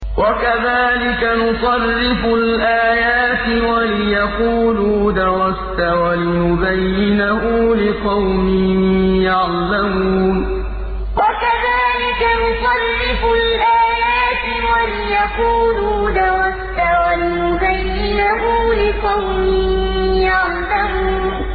وَكَذَٰلِكَ نُصَرِّفُ الْآيَاتِ وَلِيَقُولُوا دَرَسْتَ وَلِنُبَيِّنَهُ لِقَوْمٍ يَعْلَمُونَ وَكَذَٰلِكَ نُصَرِّفُ الْآيَاتِ وَلِيَقُولُوا دَرَسْتَ وَلِنُبَيِّنَهُ لِقَوْمٍ يَعْلَمُونَ